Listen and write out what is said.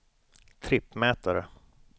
trippmätare